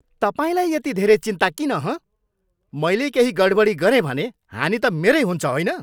तपाईँलाई यति धेरै चिन्ता किन, हँ? मैले केही गडबडी गरेँ भने हानि त मेरै हुन्छ होइन?